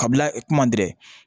Kabila kuma dɛrɛ